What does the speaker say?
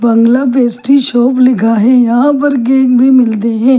बंगला pastry shop लिखा है यहां पर केक भी मिलते है।